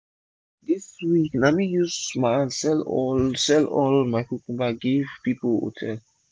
this week na me use my hand sell all sell all my cucumber give hotel pipu.